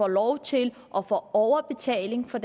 lov til at få overbetaling for